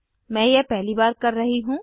मैं यह पहली बार कर रही हूँ